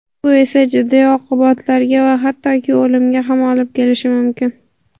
Bu esa jiddiy oqibatlarga va hattoki o‘limga ham olib kelishi mumkin.